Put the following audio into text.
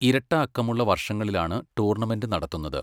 ഇരട്ടഅക്കമുള്ള വർഷങ്ങളിലാണു ടൂർണമെന്റ് നടത്തുന്നത്.